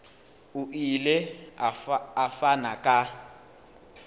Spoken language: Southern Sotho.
o ile a fana ka